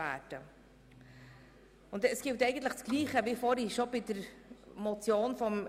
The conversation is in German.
Im Grunde gilt dasselbe, wie vorhin bei der Motion Knutti: